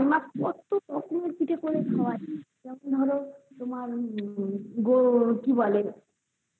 মা কত পিঠে করে খাওয়ায় যেমন ধরো তোমার গো কি বলে হ্যাকি বলে